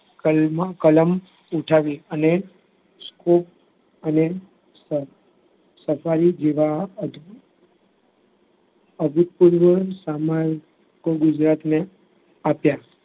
કલમ ઉઠાવી અને અને જીવવા અભિકુલનું સમગ્ર ગુજરાતને આપ્યા.